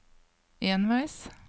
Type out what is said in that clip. enveis